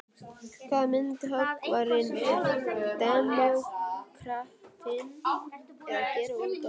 Hvað eru myndhöggvarinn og demókratinn að gera úti á gólfi.